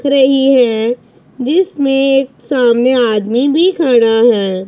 दिख रही है जिसमें एक सामने आदमी भी खड़ा है।